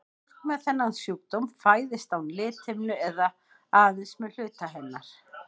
Fólk með þennan sjúkdóm fæðist án lithimnu eða aðeins með hluta hennar.